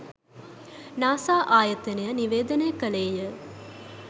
NASA ආයතනය නිවේදනය කළේය